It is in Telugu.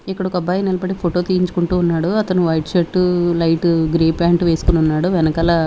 ఇక్కడ ఒక అబ్బాయి నిలబడి ఫోటో తీయించుకుంటూ ఉన్నాడు అతను white shirt light grey pant వేసుకొని ఉన్నాడు వెనకాల.